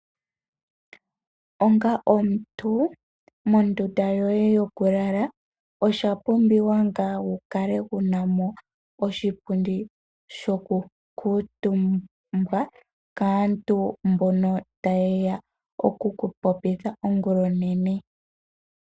Onga omuntu mondunda yoye yoku lala oshapumbiwa wu kale wunamo oshipundi shoku kutumbawa kaantu mbono tayeya okuku popitha ongula onene.